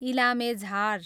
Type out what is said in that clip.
इलामे झार